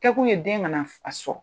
kɛ kun ye den kana